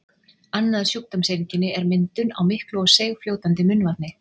Annað sjúkdómseinkenni er myndun á miklu og seigfljótandi munnvatni.